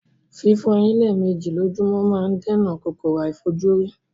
Fífo eyín lémèji lójómó ma n dènà kòkòrò àífojúrí